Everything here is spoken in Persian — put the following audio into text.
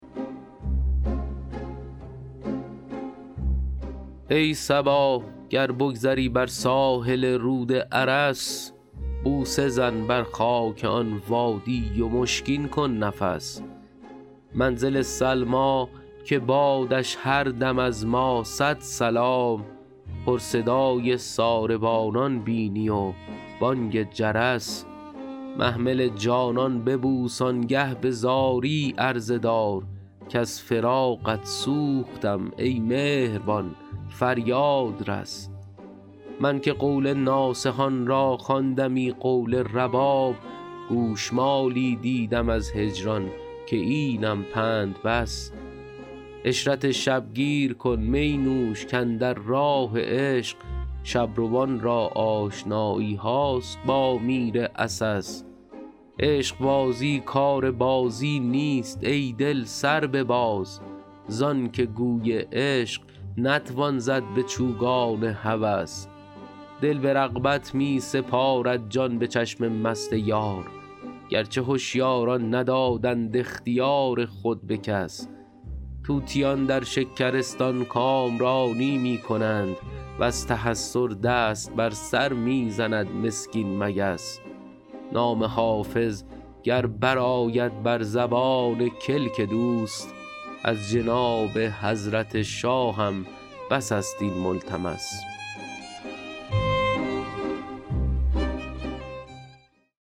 ای صبا گر بگذری بر ساحل رود ارس بوسه زن بر خاک آن وادی و مشکین کن نفس منزل سلمی که بادش هر دم از ما صد سلام پر صدای ساربانان بینی و بانگ جرس محمل جانان ببوس آن گه به زاری عرضه دار کز فراقت سوختم ای مهربان فریاد رس من که قول ناصحان را خواندمی قول رباب گوش مالی دیدم از هجران که اینم پند بس عشرت شب گیر کن می نوش کاندر راه عشق شب روان را آشنایی هاست با میر عسس عشق بازی کار بازی نیست ای دل سر بباز زان که گوی عشق نتوان زد به چوگان هوس دل به رغبت می سپارد جان به چشم مست یار گر چه هشیاران ندادند اختیار خود به کس طوطیان در شکرستان کامرانی می کنند و از تحسر دست بر سر می زند مسکین مگس نام حافظ گر برآید بر زبان کلک دوست از جناب حضرت شاهم بس است این ملتمس